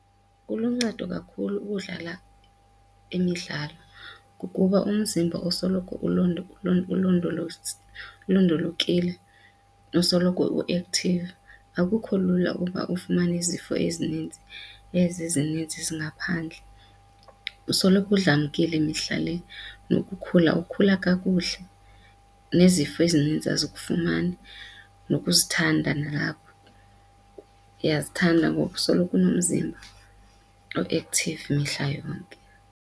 Kuluncedo kakhulu ukudlala imidlalo ngokuba umzimba usoloko ulondolokile, usoloko u-active, akukho lula ukuba ufumane izifo ezinintsi ezi zininzi zingaphandle, usoloko udlamkile mihla le. Nokukhula ukukhula kakuhle, nezifo ezininzi azikufumani, nokuzithanda nalapho iyazithanda ngokusoloko unomzimba o-active mihla yonke.